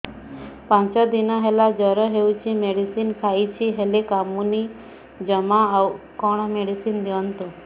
ପାଞ୍ଚ ଦିନ ହେଲା ଜର ହଉଛି ମେଡିସିନ ଖାଇଛି ହେଲେ କମୁନି ଜମା ଆଉ କଣ ମେଡ଼ିସିନ ଦିଅନ୍ତୁ